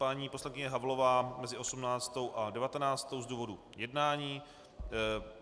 Paní poslankyně Havlová mezi 18. a 19. z důvodu jednání.